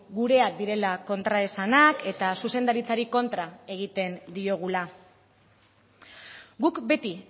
gureak direla kontraesanak eta zuzendaritzari kontra egiten diogula guk beti